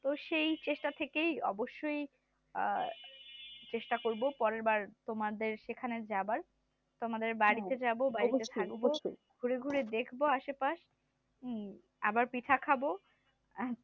তো সেই চেষ্টা থেকেই অবশ্যই চেষ্টা করব পরের বার তোমাদের সেখানে যাবার তোমাদের বাড়িতে যাব ঘুরে ঘুরে দেখব আশে পাশ আবার পিঠা খাব আর